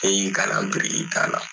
N'e y'i kalan birikida la.